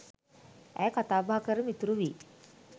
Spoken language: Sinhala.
ඇය කතාබහ කර මිතුරු වී